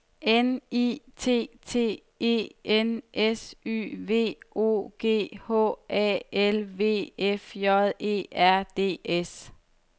N I T T E N S Y V O G H A L V F J E R D S